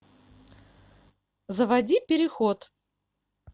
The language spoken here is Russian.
заводи переход